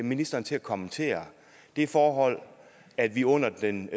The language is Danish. ministeren til at kommentere det forhold at vi under den